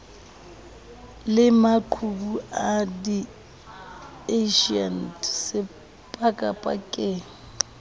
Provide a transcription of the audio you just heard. le maqhubu a radieishene sepakapakeng